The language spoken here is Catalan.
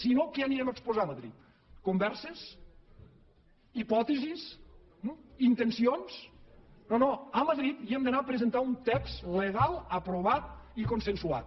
si no què anirem a exposar a ma drid converses hipòtesis intencions no no a madrid hi hem d’anar a presentar un text legal aprovat i consensuat